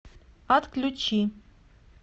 отключи